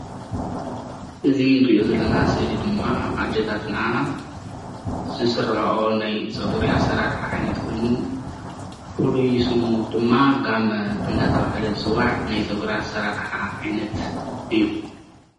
እዚ ንሪኦ ዘለና ስእሊ ድማ ኣዴታትና ዝስርሕኦ ናይ ፀጉሪ አሰራስሓ ዓይነት ኮይኑ ፍሉይ ስሙ ድማ ጋመ እንዳተባሃለ ዝፅዋዕ ናይ ፀጉሪ አሰራርሓ ዓይነት እዩ።